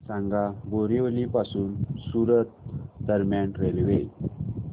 सांगा बोरिवली पासून सूरत दरम्यान रेल्वे